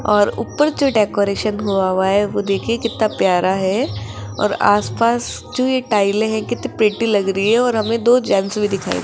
और ऊपर जो डेकोरेशन हुआ हुआ है वो देखिए कितना प्यारा है और आसपास जो ये टाइले है कितनी प्रीटी लग रही है और हमें दो जेंट्स भी दिखाई --